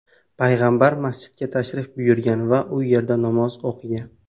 payg‘ambar masjidiga tashrif buyurgan va u yerda namoz o‘qigan.